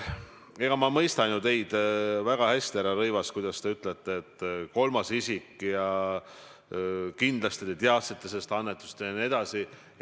Eks ma mõistan teid ju väga hästi, härra Rõivas, kuidas te ütlete, et kolmas isik ja et kindlasti ma teadsin sellest annetusest jne.